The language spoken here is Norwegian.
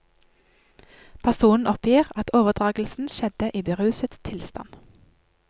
Personen oppgir at overdragelsen skjedde i beruset tilstand.